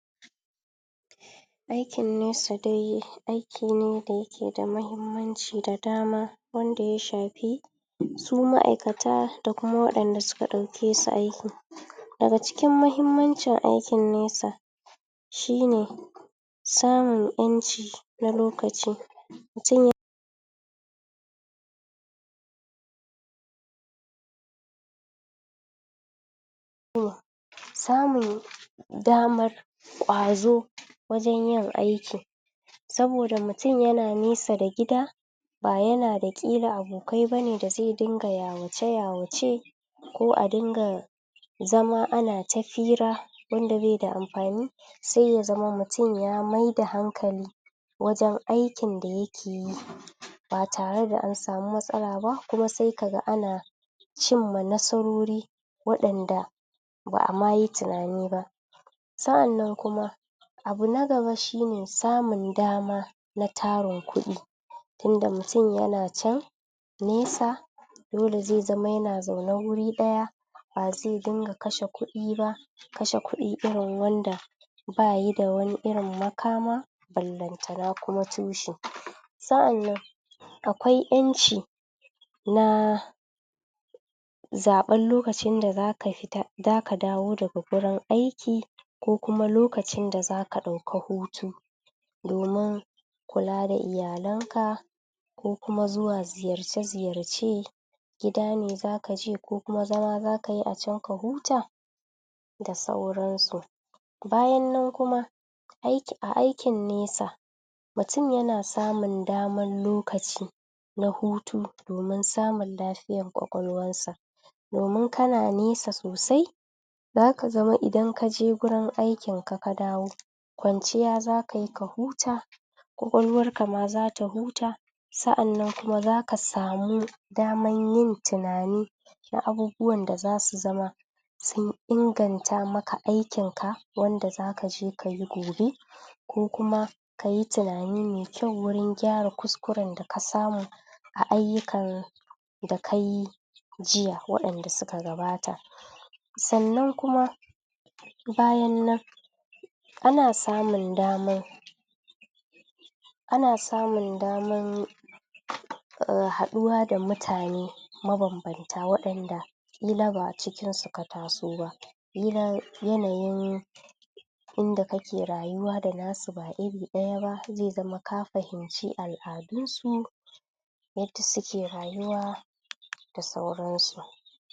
aikin nesa dai aiki ne da yake da muhimmanci da dama wandsa ya shafi su ma'aikata da wadan da suka dauke su aiki daga cikin mahimmancin aikin nesa shine samun yanci na lokaci mutum ya um samun daman kwazo wajen yin aiki saboda mutum yana nesa da gida ba yana da kila abokai bane da ze dunga yawace-yawace ko adunga zama anata fira wanda beda amfani se yazama mutum ya maida hankali wajen aikin dayake yi batare da ansamu matsala ba kuma se kaga ana cinma nasarori wadanda ba'amayi tunani ba sa'an nan kuma abu nagaba kuma shine samun dama na tarin kudi tinda mutum yana can nesa dole zema yana zaune guri daya ba ze dinga kashe kudi ba kashe kudi irin wanda bayi da wani irin makama ballen tanama kuma tushe sa'annan akwai yanci na zaben lokacin da zaka fita zaka dawo daga wurin aiki ko kuma lokacin da zaka dauki hutu domin kula da iyalenka ko kuma zuwa ziyarce ziyarce gida ne zaka je ko kuma zama zxakayi ka huta da sauran su bayan nan kuma aiki a aikin nesa mutum yana samun daman lokaci na hutu domin samun lafiyar kwakwalwar sa domin kana nesa sosai zaka zama idan kaje wurin aikin ka kadawo kwanciya zakayi ka huta kwalkwalwarka ma zata huta sa'an nan kuma zaka samu daman yin tunani na abubuwan da zasu zama sun inganta maka aikin ka wanda zakaje kayi gobe ko kuma kayi tunani me kyau wurin gyara kuskuren dakasamu aiyukan da kayi jiya wadanda suka gabata sannan kuma bayan nan ana samun damar ana samun damar yin um haduwa da mutane maban banta wadanda kila ba a cikin suka taso ba irin yanayin inda kake rayuwa da nasu ba iri dayaba ze ma ka fahim ci al-adunsu yadda suke rayuwa da sauransu